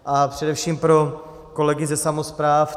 A především pro kolegy ze samospráv.